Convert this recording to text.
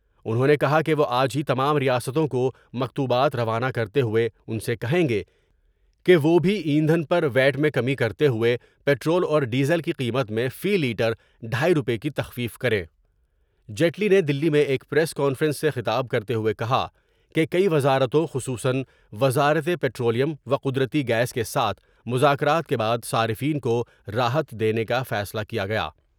انہوں نے کہا کہ وہ آج ہی تمام ریاستوں کو مکتوبات روانہ کرتے ہوئے ان سے کہیں گے کہ وہ بھی ایندھن پر ویاٹ میں کمی کرتے ہوۓ پٹرول اور ڈیزل کی قیمت میں فی لیٹر ڈھائی روپے کی تخفیف کر میں جیٹلی نے دلی میں ایک پریس کانفرنس سے خطاب کرتے ہوئے کہا کہ کئی وزارتوں خصوصا وزارت پٹرولیم وقد رتی گیس کے ساتھ مذاکرات کے بعد صارفین کو راحت دینے کا فیصلہ کیا گیا۔